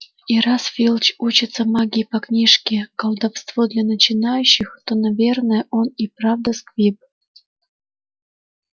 и раз филч учится магии по книжке колдовство для начинающих то наверное он и правда сквиб